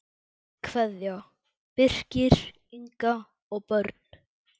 Kveðja, Birkir, Inga og börn.